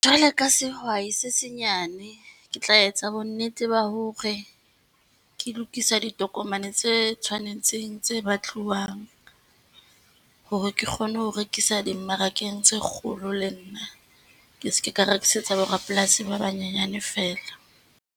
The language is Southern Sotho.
Jwale ka sehwai se senyane, ke tla etsa bonnete ba hore ke lokisa ditokomane tse tshwanetseng tse batluwang, hore ke kgone ho rekisa dimmarakeng tse kgolo le nna. Ke seke ka rekisetsa borapolasi ba banyenyane feela.